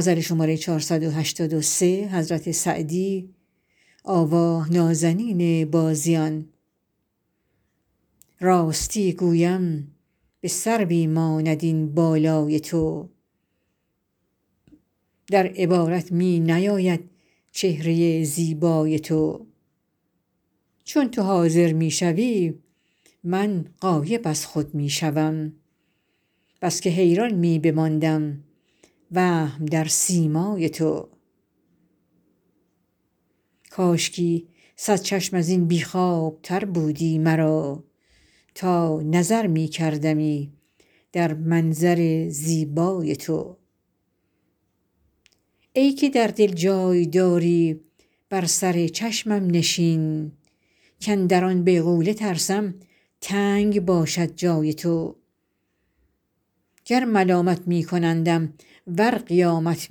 راستی گویم به سروی ماند این بالای تو در عبارت می نیاید چهره زیبای تو چون تو حاضر می شوی من غایب از خود می شوم بس که حیران می بماندم وهم در سیمای تو کاشکی صد چشم از این بی خوابتر بودی مرا تا نظر می کردمی در منظر زیبای تو ای که در دل جای داری بر سر چشمم نشین کاندر آن بیغوله ترسم تنگ باشد جای تو گر ملامت می کنندم ور قیامت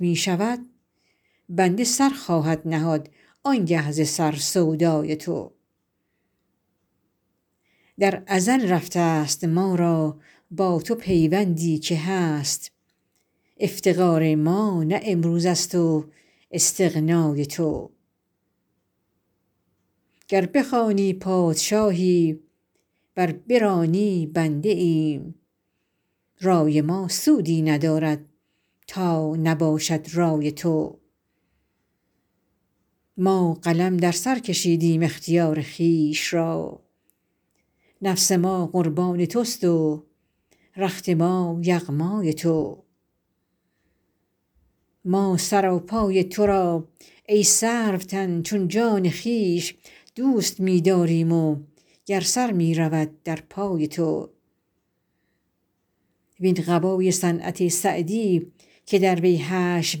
می شود بنده سر خواهد نهاد آن گه ز سر سودای تو در ازل رفته ست ما را با تو پیوندی که هست افتقار ما نه امروز است و استغنای تو گر بخوانی پادشاهی ور برانی بنده ایم رای ما سودی ندارد تا نباشد رای تو ما قلم در سر کشیدیم اختیار خویش را نفس ما قربان توست و رخت ما یغمای تو ما سراپای تو را ای سروتن چون جان خویش دوست می داریم و گر سر می رود در پای تو وین قبای صنعت سعدی که در وی حشو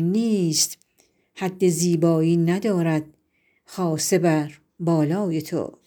نیست حد زیبایی ندارد خاصه بر بالای تو